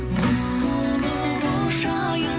құс болып ұшайын